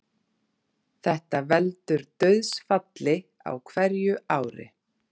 Þetta veldur dauðsfalli á hverju ári